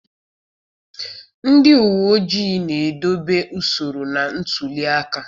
Ndị uwe ojii na-edobe usoro na ntuli aka